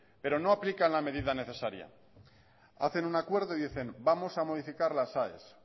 pero no aplican la medida necesaria hacen un acuerdo y dicen vamos a modificar las aes